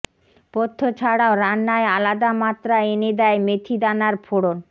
পথ্য ছাড়াও রান্নায় আলাদা মাত্রা এনে দেয় মেথি দানার ফোড়ন